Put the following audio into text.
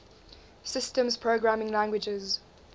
systems programming languages